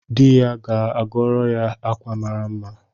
Di ya ga-agoro ya akwa mara mma